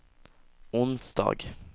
onsdag